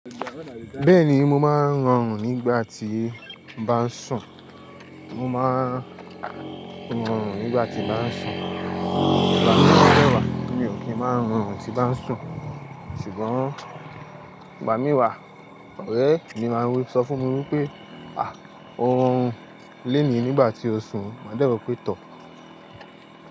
Bẹ́ẹ̀ni mo máa ń rọrùn nígbà tí n bá ń sùn. Mo máa ń rọrùn nígbà tí n bá ń sùn. Ìgbà mì dẹ̀ wà, mi ò kí ń máa ń rọrùn tí bá ń sùn, ṣùgbọ́n ìgbà mi wà, ọ̀rẹ́ mi máa ń sọ fún mi wípé́ "à o ọọrùn lónìí nígbà tí o ń sùn" màá dẹ́ wó pé tọ̀.